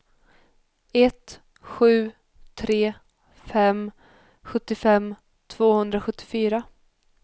ett sju tre fem sjuttiofem tvåhundrasjuttiofyra